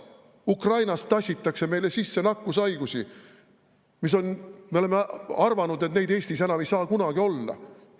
Ukrainast tassitakse meile sisse nakkushaigusi, mille kohta me oleme arvanud, et neid Eestis enam ei saa kunagi olla.